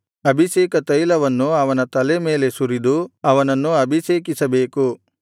ಅಭಿಷೇಕತೈಲವನ್ನು ಅವನ ಮೇಲೆ ಸುರಿದು ಅವನನ್ನು ಅಭಿಷೇಕಿಸಬೇಕು